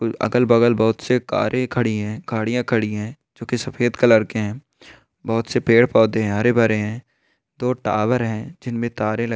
अगल बगल बहुत सै कारे खड़ी है गाड़िया खड़ी है जो की सफ़ेद कलर की है बहुत पेड़ पौधे है हरे भरे है दो टावर है जिनमे तारे लगी --